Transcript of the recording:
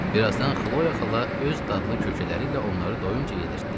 Bir azdan Xloya xala öz dadlı kökələri ilə onları doyuncay yedirtdi.